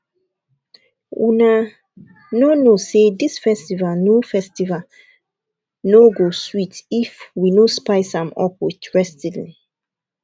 una no know say dis festival no festival no go sweet if we no spice am up with wrestling